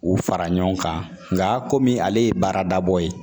U fara ɲɔgɔn kan nka komi ale ye baarada bɔ ye